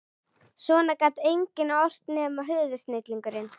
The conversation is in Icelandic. Svona gat enginn ort nema höfuðsnillingurinn